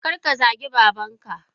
Karka zagi babanka!